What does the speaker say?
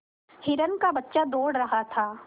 हिरण का बच्चा दौड़ रहा था